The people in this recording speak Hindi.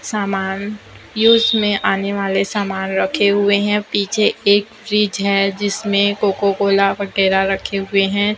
सामान यूज में आने वाले सामान रखे हुए है पीछे एक फ्रिज है जिसमें कोको कोला वगैरा रखे हुए हैं।